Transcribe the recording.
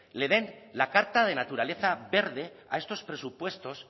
le den la carta de naturaleza verde a estos presupuestos